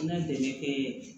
An ka dɛmɛ kɛ